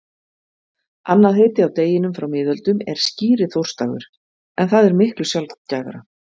Annað heiti á deginum frá miðöldum er skíriþórsdagur en það er miklu sjaldgæfara.